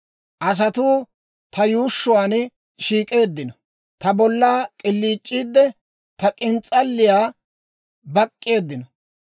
Asatuu ta yuushshuwaan shiik'eeddino; ta bolla k'iliic'iidde, ta k'ins's'alliyaa bak'k'eeddino.